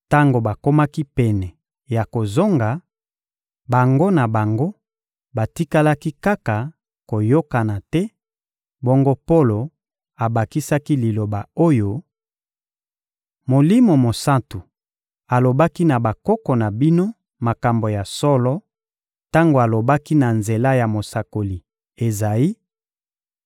Tango bakomaki pene ya kozonga, bango na bango batikalaki kaka koyokana te; bongo Polo abakisaki liloba oyo: — Molimo Mosantu alobaki na bakoko na bino makambo ya solo tango alobaki na nzela ya mosakoli Ezayi: